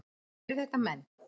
Eru þetta menn?